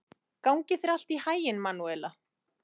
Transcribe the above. Gangi þér allt í haginn, Manúela.